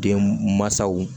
Den mansaw